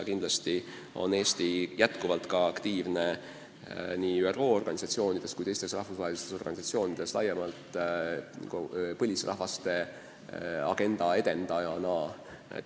Loomulikult on Eesti aktiivne nii ÜRO organisatsioonides kui teistes rahvusvahelistes organisatsioonides, tegutsedes laiemalt põlisrahvaste agenda edendajana.